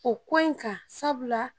O ko in kan sabula